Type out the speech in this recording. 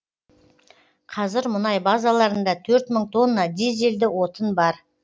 қазір мұнай базаларында төрт мың тонна дизельді отын бар